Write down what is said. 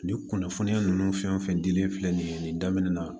Nin kunnafoniya ninnu fɛn o fɛn dilen filɛ nin ye nin daminɛ na